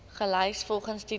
gelys volgens titel